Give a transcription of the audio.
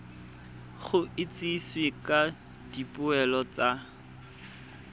go itsisiwe ka dipoelo tsa